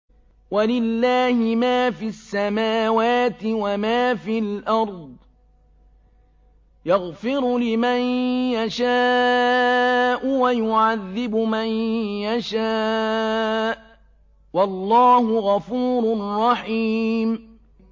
وَلِلَّهِ مَا فِي السَّمَاوَاتِ وَمَا فِي الْأَرْضِ ۚ يَغْفِرُ لِمَن يَشَاءُ وَيُعَذِّبُ مَن يَشَاءُ ۚ وَاللَّهُ غَفُورٌ رَّحِيمٌ